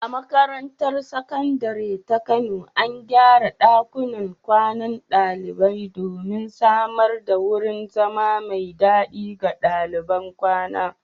A makarantar Sakandare ta Kano, an gyara ɗakunan kwanan ɗalibai domin samar da wurin zama mai dadi ga daliban kwana.